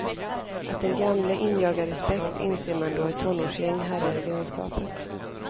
Att den gamle injagar respekt inser man då ett tonårsgäng härjar i grannskapet.